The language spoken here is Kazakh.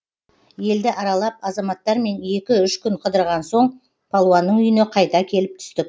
елді аралап азаматтармен екі үш күн қыдырған соң палуанның үйіне қайта келіп түстік